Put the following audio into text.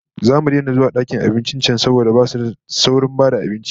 Zamu daina zuwa dakin abincin can saboda basu da saurin ba da abinci